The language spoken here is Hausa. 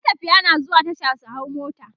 matafiya na zuwa Tasha su hau mota